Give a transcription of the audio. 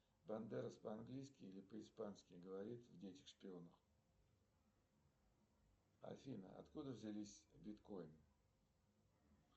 бандерос по английски или по испански говорит в детях шпионах афина откуда взялись биткоины